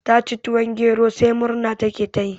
Ta ci tuwon gero sai murna ta ke yi